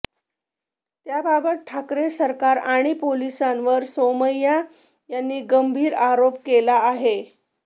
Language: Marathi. याबाबत ठाकरे सरकार आणि पोलिसांवर सोमय्या यांनी गंभीर आरोप केला आहे